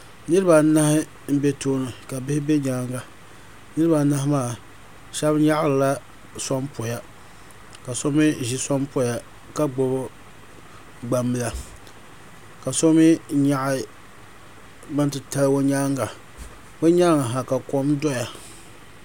niraba anahi n bɛ tooni ka bihi bɛ nyaanga niraba anahi maa shab nyaɣarila sonpoya ka so mii ʒi sonpoya ka gbubi gbambila ka so mii nyaɣi bin titali o nyaanga o nyaangi ha ka kom doya